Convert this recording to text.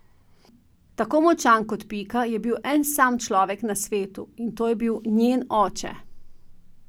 Tako močan kot Pika je bil en sam človek na svetu, in to je bil njen oče.